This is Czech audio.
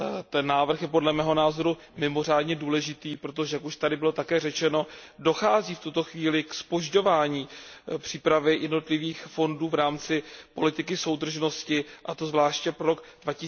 Ten návrh je, podle mého názoru mimořádně důležitý, protože už to tady bylo také řečeno dochází v tuto chvíli ke zpožďování přípravy jednotlivých fondů v rámci politiky soudržnosti, a to zvláště pro rok